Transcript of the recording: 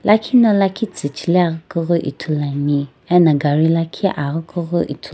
lakhi na lakhi tsuchileaghi kughi ithuluani ena gari lakhi aghi kughi ithuluani.